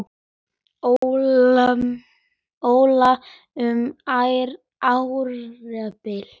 Óla um árabil.